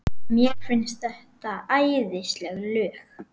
Mér finnst þetta æðisleg lög.